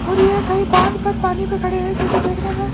और ये कहीं बांध पर पानी पे खड़े हैं जो कि देखने में--